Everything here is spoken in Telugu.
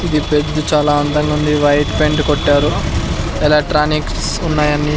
ఇది పెద్ద చాలా అందంగా ఉంది వైట్ పెయింట్ కొట్టారు ఎలక్ట్రానిక్స్ ఉన్నాయి అన్ని.